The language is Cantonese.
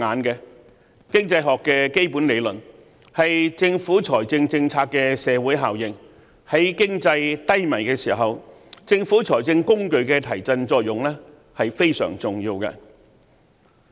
經濟學的基本理論強調政府財政政策的社會效應，在經濟低迷的時候，政府財政工具的提振作用是非常重要的。